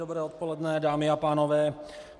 Dobré odpoledne, dámy a pánové.